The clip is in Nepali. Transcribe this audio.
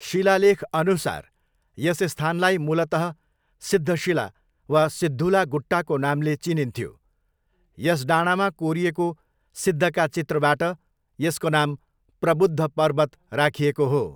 शिलालेखअनुसार यस स्थानलाई मूलतः सिद्धशिला वा सिद्धुला गुट्टाको नामले चिनिन्थ्यो, यस डाँडामा कोरिएको सिद्धका चित्रबाट यसको नाम 'प्रबुद्ध पर्वत' राखिएको हो।